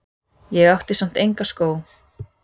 Ég átti samt enga skó.